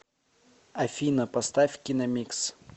афина поставь киномикс